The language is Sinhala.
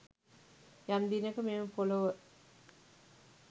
යම් දිනක මෙම පොලොව